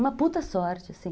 Uma puta sorte, assim.